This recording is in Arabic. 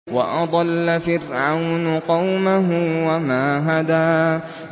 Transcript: وَأَضَلَّ فِرْعَوْنُ قَوْمَهُ وَمَا هَدَىٰ